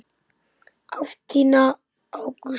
Ást þína á Gústa.